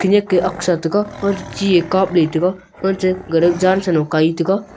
eneke aak sa taga unchu che e kap ley taiga unchi gale kap ley taiga .]